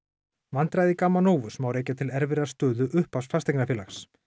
vandræði Gamma Novus má rekja til erfiðrar stöðu upphafs fasteignafélags